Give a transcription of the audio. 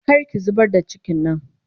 Kar ki zubar da cikin nan!